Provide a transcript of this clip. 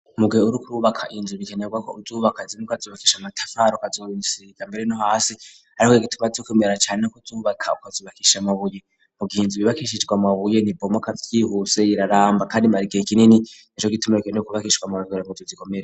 Muguhe urukuru wubaka hinzu bikenerwa ko uzubaka zini kazubakisha amatafaro kazubisirika mbere no hasi ariko gituma tyo kwimera cane no kuzubaka ukazubakisha mabuye mu gihinzu bibakishishwa mabuye nti bomoka byihuse yiraramba kandi mari kihe kinini eco gitumere ke n kubakishwa mabigore mu zu zikomere.